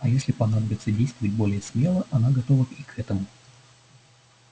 а если понадобится действовать более смело она готова и к этому